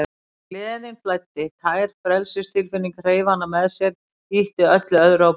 En gleðin flæddi, tær frelsistilfinningin, hreif hana með sér, ýtti öllu öðru á braut.